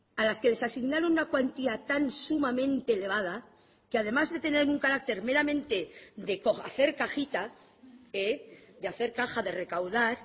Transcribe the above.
a las que les asignaron una cuantía tan sumamente elevada que además de tener un carácter meramente de hacer cajita de hacer caja de recaudar